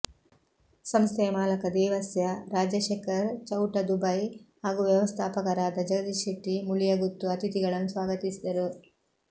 ಸಂಸ್ಥೆಯ ಮಾಲಕ ದೇವಸ್ಯ ರಾಜಶೆಖರ್ ಚೌಟ ದುಬೈ ಹಾಗೂ ವ್ಯವಸ್ಥಾಪಕರಾದ ಜಗದೀಶ್ ಶೆಟ್ಟಿ ಮುಳಿಯಗುತ್ತು ಅತಿಥಿಗಳನ್ನು ಸ್ವಾಗತಿಸಿದರು